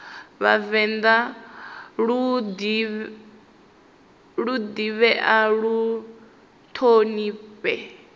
vhavenḓa lu ḓivhee lu ṱhonifhee